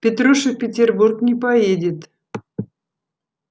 петруша в петербург не поедет